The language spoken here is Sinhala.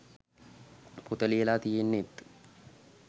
පොත ලියලා තියෙන්නෙත්